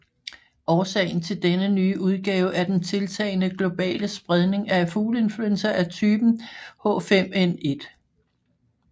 Årsagen til denne nye udgave er den tiltagende globale spredning af fugleinfluenza af typen H5N1